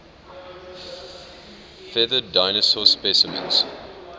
feathered dinosaur specimens